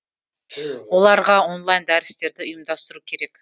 оларға онлайн дәрістерді ұйымдастыру керек